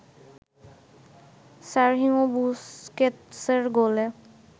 Sergio বুসকেতসের গোলে